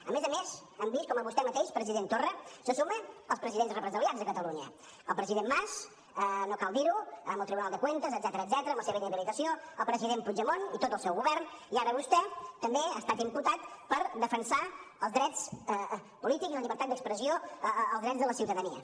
a més a més hem vist com vostè mateix president torra se sumen als presidents represaliats de catalunya el president mas no cal dir ho amb el tribunal de cuentas etcètera amb la seva inhabilitació el president puigdemont i tot el seu govern i ara vostè també ha estat imputat per defensar els drets polítics i la llibertat d’expressió els drets de la ciutadania